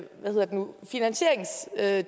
alle